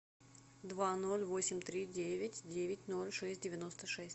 два ноль восемь три девять девять ноль шесть девяносто шесть